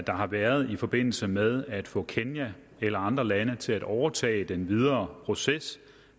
har været i forbindelse med at få kenya eller andre lande til at overtage den videre proces